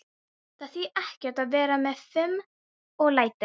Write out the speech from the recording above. Það þýðir ekkert að vera með fum og læti.